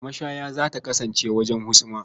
Mashaya za ta kasance wajen husuma.